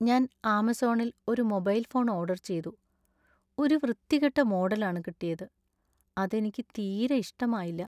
ഞാൻ ആമസോണിൽ ഒരു മൊബൈൽ ഫോൺ ഓർഡർ ചെയ്തു ,ഒരു വൃത്തികെട്ട മോഡലാണ് കിട്ടിയത് , അത് എനിക്ക് തീരെ ഇഷ്ടമായില്ല .